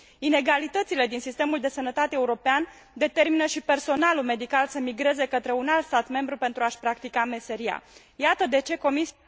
Inegalitățile din sistemul de sănătate european determină și personalul medical să migreze către un alt stat membru pentru a și practica meseria. Iată de ce Comisia